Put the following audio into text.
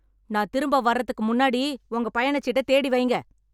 நான் திரும்ப வரதுக்கு முன்னாடி உங்களுடைய பயணச் சீட்டைத் தேடி வைங்க